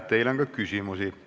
Teile on ka küsimusi.